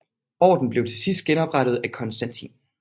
Orden blev til sidst genoprettet af Konstantin